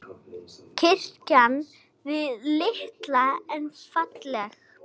Kirkjan var lítil en falleg.